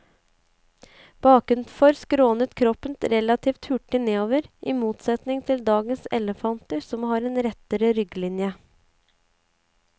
Bakenfor skrånet kroppen relativt hurtig nedover, i motsetning til dagens elefanter som har en rettere rygglinje.